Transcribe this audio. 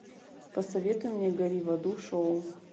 посоветуй мне гори в аду шоу